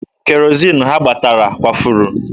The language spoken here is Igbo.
Kerozin ha gbatara kwafuru.